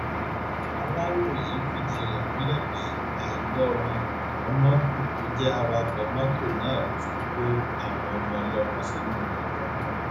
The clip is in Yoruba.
aláròye fìdí rẹ múlẹ pé àìgbọràn mómódù tó jẹ awakọ mọtò náà ló fi kó àwọn ọmọ ọlọmọ sínú ìyọnu